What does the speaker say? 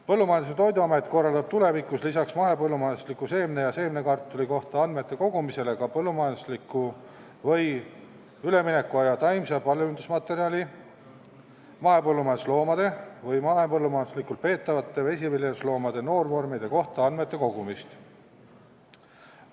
Põllumajandus- ja Toiduamet korraldab tulevikus lisaks mahepõllumajandusliku seemne ja seemnekartuli kohta andmete kogumisele ka mahepõllumajandusliku või üleminekuaja taimse paljundusmaterjali, mahepõllumajandusloomade või mahepõllumajanduslikult peetavate vesiviljelusloomade noorvormide kohta andmete kogumist.